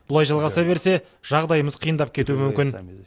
бұлай жалғаса берсе жағдайымыз қиындап кетуі мүмкін